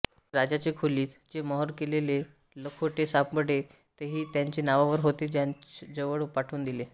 राजाचे खोलीत जे मोहोर केलेले लखोटे सांपडले तेही जांचे नावावर होते त्यांजकडे पाठवून दिले